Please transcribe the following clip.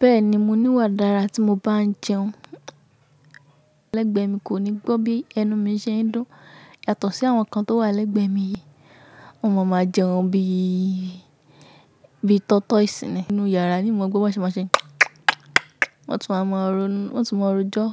Bẹ́ẹ̀ni, mo níwà dára tí mo bá ń jẹun. Alẹ́gbẹ̀ẹ́ mi kò ní gbọ́ bí ẹnu mi ṣe ń dún yàtọ̀ sí àwọn kan tó wà lẹ́gbẹ̀ẹ́ mi yìí. Wọn máa máa jẹun bí i, bí i tortoise sì nì nínú yàrá, ni maa gbọ́ bọ́ n ṣe máa ń ṣe. Wọ́n tún wa máa ronu, wọn tún máa rojọ